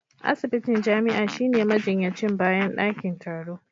Asibitin jami'a shine majinyacin bayan dakin taro